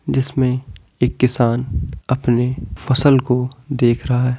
जिसमें एक किसान अपने फसल को देख रहा है।